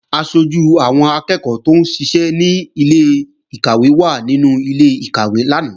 Aṣojú àwọn akẹ́ẹ̀kọ́ tóún ṣiṣẹ́ ní ilé-ìkàwé wà nínú ilé-ìkàwé lánàá